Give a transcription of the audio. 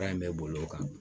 Baara in bɛ boli o kan